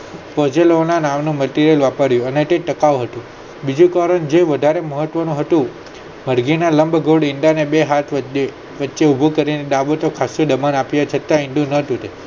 પ્રજનન ના નાળ માં Material માં પડી અને અને તે ટકાઉ હતી બીજી તરફ જે વધારે મહત્વ નું હતું મરઘી ના લંબગોળ ઈંડા ને બે હાથે બચ્ચું ઉભું કરીને ડાબે થી nuber આપે છે ત્યાં ઈંડુ નોતું